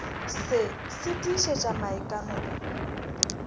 se se tiišetša maikano a